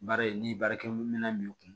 Baara in ni baarakɛminɛn b'i kun